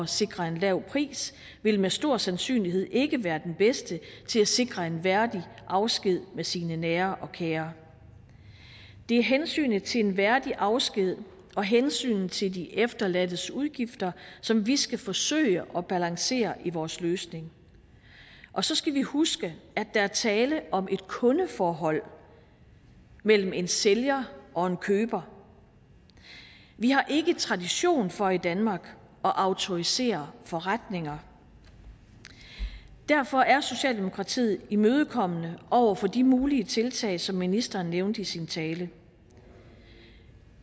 sikre en lav pris vil med stor sandsynlighed ikke være den bedste til at sikre en værdig afsked med sine nære og kære det er hensynet til en værdig afsked og hensynet til de efterladtes udgifter som vi skal forsøge at balancere i vores løsning og så skal vi huske at der er tale om et kundeforhold mellem en sælger og en køber vi har ikke tradition for i danmark at autorisere forretninger derfor er socialdemokratiet imødekommende over for de mulige tiltag som ministeren nævnte i sin tale